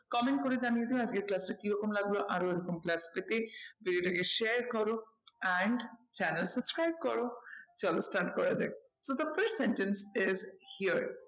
Comment করে জানিয়ে দিও আজকের class টা কিরকম লাগলো আরো এরকম class পেতে video টাকে share করো and channel subscribe করো। চলো start করা যাক, তো first sentence is here